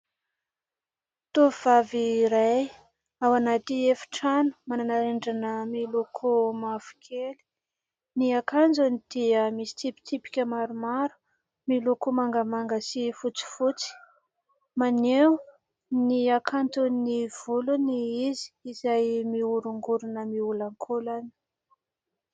Tovovavy iray ao anatiny efi-trano manana rindrina miloko mavokely ; ny akanjony dia misy tsipitsipika maromaro miloko mangamanga sy fotsifotsy, maneho ny hakanton'ny volony izy izay miorongorona, miolankolana.